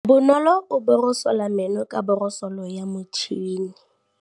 Bonolô o borosola meno ka borosolo ya motšhine.